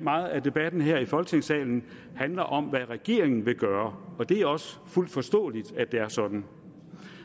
meget af debatten her i folketingssalen handler om hvad regeringen vil gøre og det er også fuldt ud forståeligt at det er sådan